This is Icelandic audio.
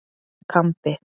Kambi